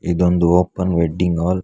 ಇದೊಂದು open wedding hall ಅ--